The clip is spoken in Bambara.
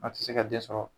A tɛ se ka den sɔrɔ